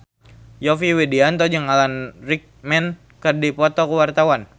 Yovie Widianto jeung Alan Rickman keur dipoto ku wartawan